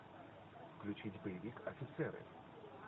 включить боевик офицеры